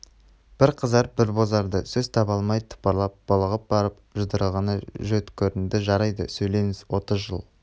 бір қызарып бір бозарды сөз таба алмай тыпырлап булығып барып жұдырығына жөткірінді жарайды сөйлеңіз отыз жыл